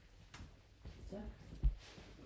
Så